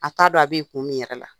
A t'a dɔn a bɛ ye kun min yɛrɛ la.